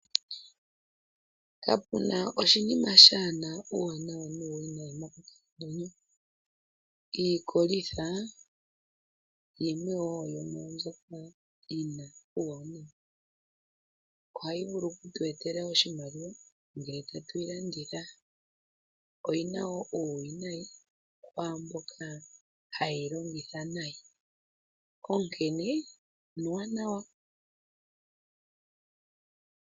Kapu na oshinima shaa na uuwanawa nuuwinayi monkalamwenyo. Iikolitha yimwe wo yo mwaa mbyoka yi na uuwanawa. Ohayi vulu oku tu etela oshimaliwa ngele tatu yi landitha. Oyi na wo uuwinayi kwaa mboka haye yi longitha nayi.